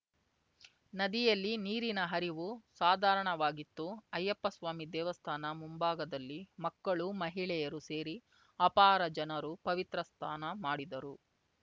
ನದಿಯಲ್ಲಿ ನೀರಿನ ಹರಿವು ಸಾಧಾರಣವಾಗಿತ್ತು ಅಯ್ಯಪ್ಪ ಸ್ವಾಮಿ ದೇವಸ್ಥಾನ ಮುಂಭಾಗದಲ್ಲಿ ಮಕ್ಕಳು ಮಹಿಳೆಯರು ಸೇರಿ ಅಪಾರ ಜನರು ಪವಿತ್ರ ಸ್ನಾನ ಮಾಡಿದರು